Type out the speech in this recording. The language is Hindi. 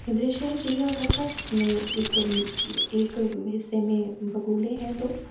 ये दृश्य है चिड़िया घर का जिसमे एक-एक हिस्से मे बगुले हैं दो।